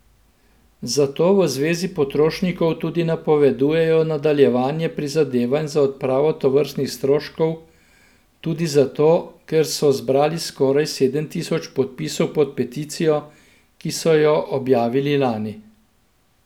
Zato v Zvezi potrošnikov tudi napovedujejo nadaljevanje prizadevanj za odpravo tovrstnih stroškov, tudi zato, ker so zbrali skoraj sedem tisoč podpisov pod peticijo, ki so jo objavili lani.